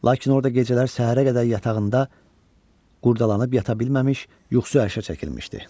Lakin orda gecələr səhərə qədər yatağında qurdalanıb yata bilməmiş, yuxusu ərşə çəkilmişdi.